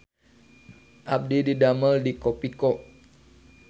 Abdi didamel di Kopiko